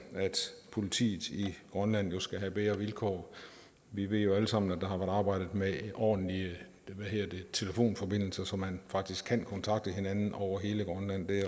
politiet i grønland jo skal have bedre vilkår vi ved alle sammen at der har været arbejdet med ordentlige telefonforbindelser så man faktisk kan kontakte hinanden over hele grønland det